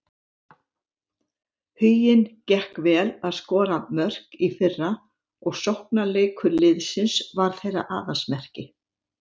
Huginn gekk vel að skora mörk í fyrra og sóknarleikur liðsins var þeirra aðalsmerki.